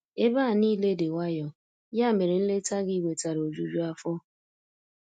Ebe a niile dị nwayọ, ya mere nleta gị wetara ojuju afọ.